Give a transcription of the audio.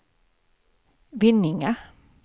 Vinninga